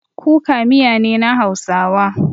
Kuka miya ne na hausawa.